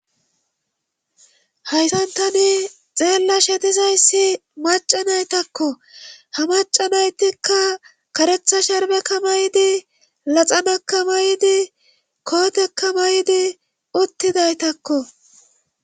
Haysantani xeella she dizayssi macanaytakko ha macanaytikka karetha sherbeka may'di laxanaka may7di kootekka may'diuttidaytakko.